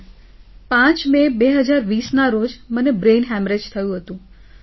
sir 5 મે 2020 ના રોજ મને બ્રેઈન હેમરેજ થયું હતું